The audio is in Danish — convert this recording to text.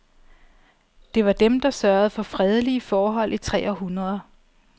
Det var dem, der sørgede for fredelige forhold i tre århundreder.